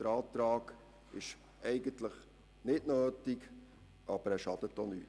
Der Antrag ist eigentlich nicht nötig, aber er schadet auch nicht.